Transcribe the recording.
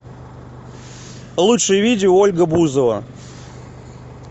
лучшие видео ольга бузова